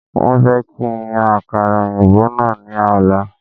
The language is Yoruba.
Wọ́n fẹ́ kí n yan àkàrà òyìnbó náà ní ọ̀la